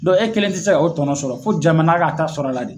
e kelen tɛ se ka o tɔnɔ sɔrɔ fo jamana k'a ta sɔrɔ a la de.